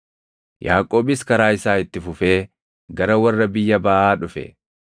Yaaqoobis karaa isaa itti fufee gara warra biyya baʼaa dhufe.